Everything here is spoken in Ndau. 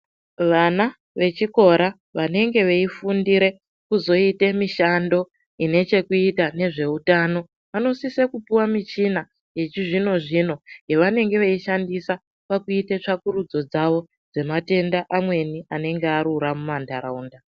Vana vechikora vanenge veifundira kuzoita mishando une chekuita nezvehutano vanosisa kupuwa michina Yechizvino zvino yavanenge veishandisa kuita tsvakurudzo dzawo dzematenda amweni anenge arura mumandaraunda.